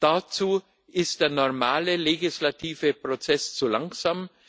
Dazu ist der normale legislative Prozess zu langsam.